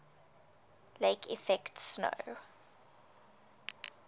lake effect snow